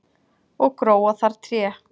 og gróa þar tré